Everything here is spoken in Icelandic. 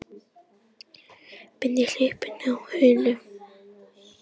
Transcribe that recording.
Beindi hlaupinu að honum.